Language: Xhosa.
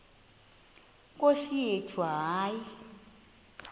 nkosi yethu hayi